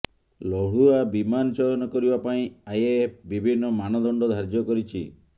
ଲଢ଼ୁଆ ବିମାନ ଚୟନ କରିବା ପାଇଁ ଆଇଏଏଫ ବିଭିନ୍ନ ମାପଦଣ୍ଡ ଧାର୍ଯ୍ୟ କରିଛି